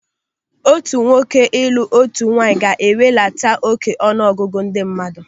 Otu nwoke ịlụ otu nwaanyị ga-ewelata óké ọnụ ọgụgụ ndị mmadụ.